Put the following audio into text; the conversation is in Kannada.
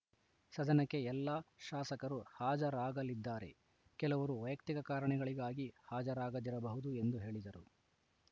ಸದನಕ್ಕೆ ಎಲ್ಲಾ ಶಾಸಕರು ಹಾಜರಾಗಲಿದ್ದಾರೆ ಕೆಲವರು ವೈಯಕ್ತಿಕ ಕಾರಣಗಳಿಗಾಗಿ ಹಾಜರಾಗದಿರಬಹುದು ಎಂದು ಹೇಳಿದರು